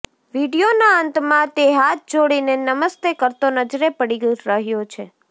વીડિયોના અંતમાં તે હાથ જોડીને નમસ્તે કરતો નજરે પડી રહ્યો છે